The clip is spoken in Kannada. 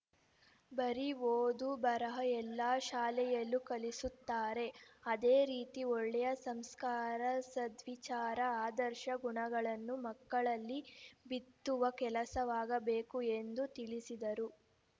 ಬರೀ ಓದು ಬರಹ ಎಲ್ಲಾ ಶಾಲೆಯಲ್ಲೂ ಕಲಿಸುತ್ತಾರೆ ಅದೇ ರೀತಿ ಒಳ್ಳೆಯ ಸಂಸ್ಕಾರ ಸದ್ವಿಚಾರ ಆದರ್ಶ ಗುಣಗಳನ್ನೂ ಮಕ್ಕಳಲ್ಲಿ ಬಿತ್ತುವ ಕೆಲಸವಾಗಬೇಕು ಎಂದು ತಿಳಿಸಿದರು